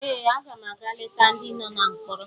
Ee, aga m aga leta ndị nọ na mkpọrọ